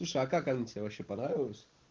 слушай а как она тебе вообще понравилось